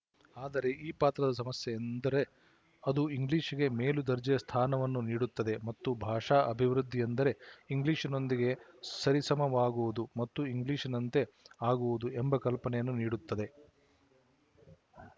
ಆದರೆ ಈ ಪಾತ್ರದ ಸಮಸ್ಯೆಯೆಂದರೆ ಅದು ಇಂಗ್ಲಿಶಿಗೆ ಮೇಲು ದರ್ಜೆಯ ಸ್ಥಾನವನ್ನು ನೀಡುತ್ತದೆ ಮತ್ತು ಭಾಷಾ ಅಭಿವೃದ್ಧಿಯೆಂದರೆ ಇಂಗ್ಲಿಶಿನೊಂದಿಗೆ ಸರಿಸಮವಾಗುವುದು ಮತ್ತು ಇಂಗ್ಲಿಶಿನಂತೆ ಆಗುವುದು ಎಂಬ ಕಲ್ಪನೆಯನ್ನು ನೀಡುತ್ತದೆ